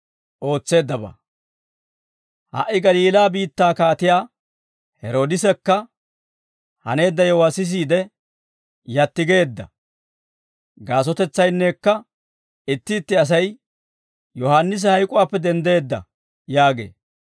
Ha"i Galiilaa biittaa kaatiyaa Heroodisekka haneedda yewuwaa sisiide yatti geedda. Gaasotetsaynnekka itti itti asay, «Yohaannisi hayk'uwaappe denddeedda» yaagee.